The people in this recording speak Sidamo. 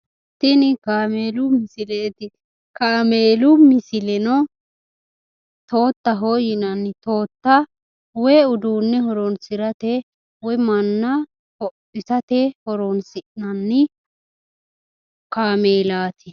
Tini kaameelu misileeti. Kaameelu misileno toottaho yinanni. Tootta woyi uduunne horoonsirate woyi manna hodhisate horoonsi'nanni kaameelaati.